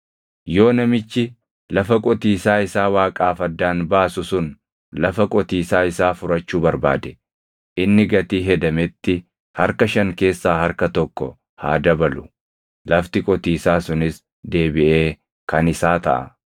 Yoo namichi lafa qotiisaa isaa Waaqaaf addaan baasu sun lafa qotiisaa isaa furachuu barbaade, inni gatii hedametti harka shan keessaa harka tokko haa dabalu; lafti qotiisaa sunis deebiʼee kan isaa taʼa.